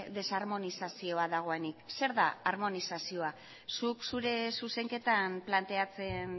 desarmonizazioa dagoenik zer da armonizazioa zuk zure zuzenketan planteatzen